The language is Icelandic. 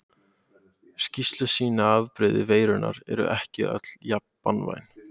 Skýrslur sýna að afbrigði veirunnar eru ekki öll jafn banvæn.